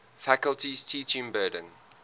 faculty's teaching burden